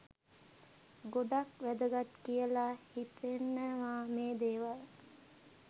ගොඩක් වැදගත් කියලා හිතෙනවා මේ දේවල්.